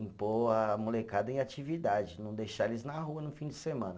Impor a molecada em atividade, não deixar eles na rua no fim de semana.